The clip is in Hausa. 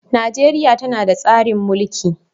Najeriya tana tsarin mulki